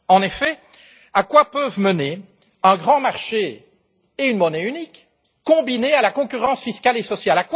En effet, à quoi peuvent mener un grand marché et une monnaie uniques, combinés à la concurrence fiscale et sociale?